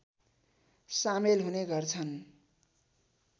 सामेल हुने गर्छन्